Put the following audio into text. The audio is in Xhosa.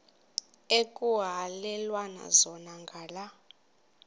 ekuhhalelwana zona ngala